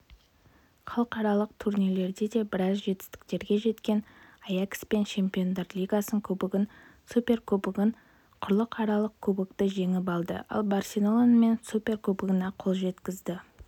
халықаралық турнирлерде де біраз жетістіктерге жеткен аякспен чемпиондар лигасын кубогын суперкубогын құрлықаралық кубокты жеңіп алды ал барселонамен суперкубогына қол жеткізді